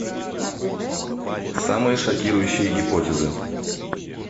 самые шокирующие гипотезы